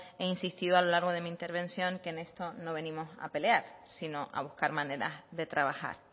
he insistido a lo largo de mi intervención que en esto no venimos a pelear sino a buscar maneras de trabajar